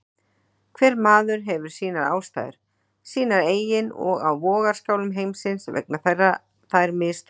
Hver maður hefur sínar ástæður, sínar eigin og á vogarskálum heimsins vega þær misþungt.